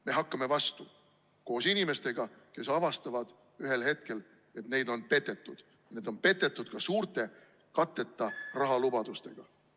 Me hakkame vastu koos inimestega, kes avastavad ühel hetkel, et neid on petetud, neid on petetud ka suurte katteta rahalubadustega.